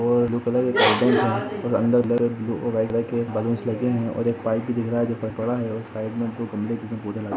और blue colour के curtains है और अंदर ब्लू और वाईट कलर के बलूनस लगे है और एक पाईप भी दिख रहा है जो की पर पड़ा है एक साइड में दो खंभे जिसमे पौधे लगे हुए है।